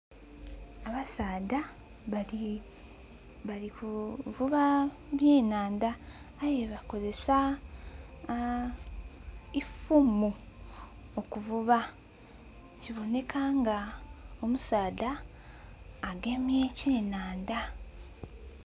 Abasaadha babiri, bali kuvuba eby'enhandha, aye bakozesa ifumu okuvuba kiboneka nga omusaadha agemye ekyenhandha.